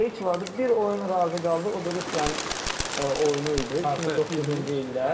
Heç vaxtı bir oyun razı qaldı, o da Rusiyanın oyunu idi, 2009-cu ildə.